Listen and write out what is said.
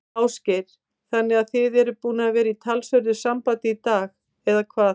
Ásgeir: Þannig að þið eruð búnir að vera í talsverðu sambandi í dag, eða hvað?